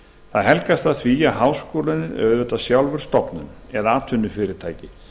það helgast af því að háskólinn er auðvitað sjálfur stofnun eða atvinnufyrirtæki